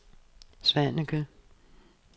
Svaneke